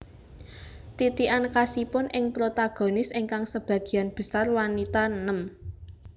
Titikan khasipun ing protagonis ingkang sebagian besar wanita nem